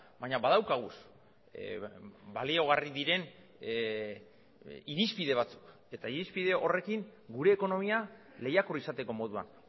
baina badaukagu baliagarri diren irizpide batzuk eta irizpide horrekin gure ekonomia lehiakor izateko moduan